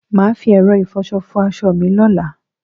Mà á fi ẹ̀rọ ìfọṣọ fọ aṣọ mi lọ́la.